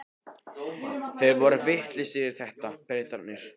Þeir eru vitlausir í þetta, Bretarnir.